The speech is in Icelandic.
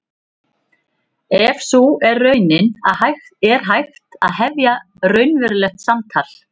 Ef sú er raunin er hægt að hefja raunverulegt samtal.